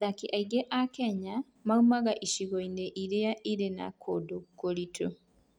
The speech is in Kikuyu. Athaki aingĩ a Kenya moimaga icigo-inĩ iria irĩ na kũndũ kũritũ.